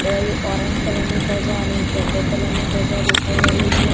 બે orange colour ની ધજા અને એક યલો કલર ની ધજા દેખાઈ રહી છે.